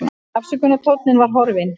Ásökunartónninn var horfinn.